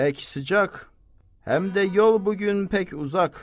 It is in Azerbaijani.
Pək sıcaq, həm də yol bu gün pək uzaq.